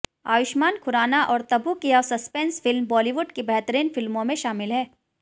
आयुष्मान खुराना और तबू की यह संस्पेंस फिल्म बॉलीवुड की बेहतरीन फिल्मों में शामिल है